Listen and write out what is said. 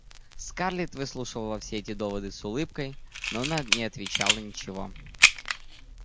скарлетт выслушивала все эти доводы с улыбкой но она не отвечала ничего